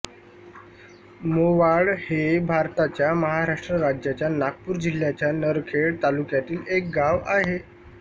मोवाड हे भारताच्या महाराष्ट्र राज्याच्या नागपूर जिल्ह्याच्या नरखेड तालुक्यातील एक गाव आहे